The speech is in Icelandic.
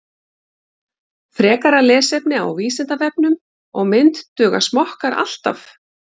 Frekara lesefni á Vísindavefnum og mynd Duga smokkar alltaf?